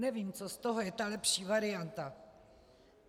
Nevím, co z toho je ta lepší varianta.